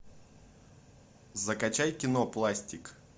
закачай кино пластик